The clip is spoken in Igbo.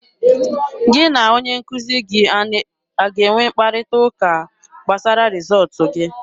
Gị na onye nkuzi gị a ga-enwe mkparịta ụka gbasara rịzọọtụ gị?